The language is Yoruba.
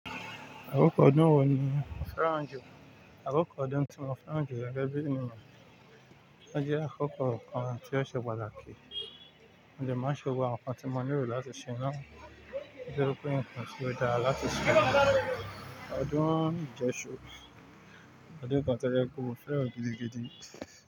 Àkókò ọdún wo ni o fẹ́ràn jù? Àkókò ọdún tí mo fẹ́ràn jù gẹ́gẹ́ bí ènìyàn, ó jẹ́ àkókò kan tí ó ṣe pàtàkì. Mo de máa ń ṣe gbogbo awon nkan tí mo ní ìlò láti ṣe náà. Ó jẹ́ pé nǹkan ti odára láti ṣe ní ọ̀dún ijesu Ọ̀dún kan tó jẹ́ pé mo fẹ́ràn gidi gidi.